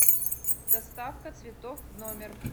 доставка цветов в номер